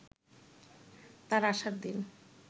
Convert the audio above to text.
তার আসার দিন